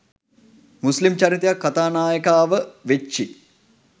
මුස්ලිම් චරිතයක් කතා නායකයානායිකාව වෙච්චි?